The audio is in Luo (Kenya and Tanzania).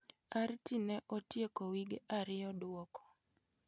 Arti ne otieko wige ariyo duoko.